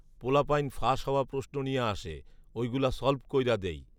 পোলাপাইন ফাস হওয়া প্রশ্ন নিয়া আসে, ঐগুলা সলভ কইরা দেই